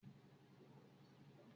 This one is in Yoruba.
Ṣé iṣú wà báyìí?